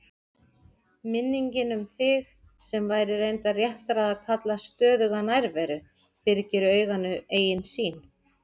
Minningin um þig, sem væri reyndar réttara að kalla stöðuga nærveru, byrgir auganu eigin sýn.